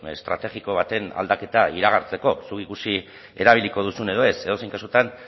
estrategiko baten aldaketa iragartzeko zuk ikusi erabiliko duzun edo ez edozein kasutan